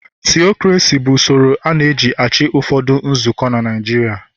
Tiokrasi bụ usoro a na eji -achị n'ụfọdụ nzukọ na Naịjirịa. il